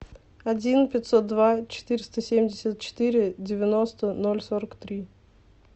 один пятьсот два четыреста семьдесят четыре девяносто ноль сорок три